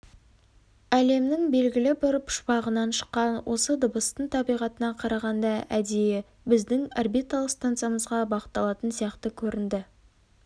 әлемнің белгілі бір пұшпағынан шыққан осы дыбыстың табиғатына қарағанда әдейі біздің орбиталық станциямызға бағытталатын сияқты көрінді